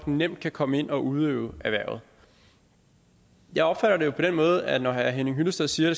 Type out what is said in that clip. nemt at komme ind og udøve erhvervet jeg opfatter det jo på den måde at når herre henning hyllested siger at